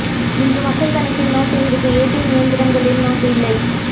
இன்று மக்கள் கணக்கில் நோட்டு இருக்கு ஏடிஎம் இயந்திரங்களில் நோட்டு இல்லை